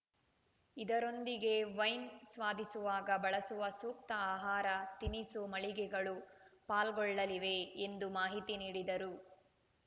ಇದರೊಂದಿಗೆ ವೈನ್‌ ಸ್ವಾದಿಸುವಾಗ ಬಳಸುವ ಸೂಕ್ತ ಆಹಾರ ತಿನಿಸು ಮಳಿಗೆಗಳು ಪಾಲ್ಗೊಳ್ಳಲಿವೆ ಎಂದು ಮಾಹಿತಿ ನೀಡಿದರು